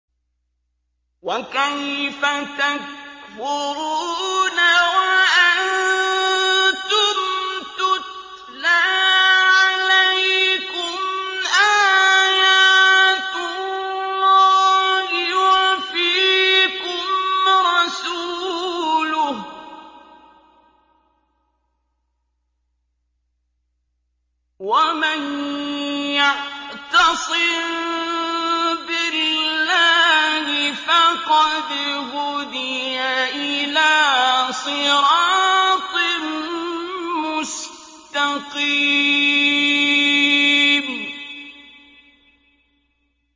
وَكَيْفَ تَكْفُرُونَ وَأَنتُمْ تُتْلَىٰ عَلَيْكُمْ آيَاتُ اللَّهِ وَفِيكُمْ رَسُولُهُ ۗ وَمَن يَعْتَصِم بِاللَّهِ فَقَدْ هُدِيَ إِلَىٰ صِرَاطٍ مُّسْتَقِيمٍ